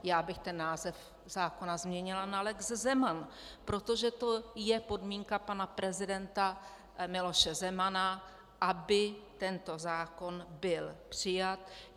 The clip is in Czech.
Já bych ten název zákona změnila na lex Zeman, protože to je podmínka pana prezidenta Miloše Zemana, aby tento zákon byl přijat.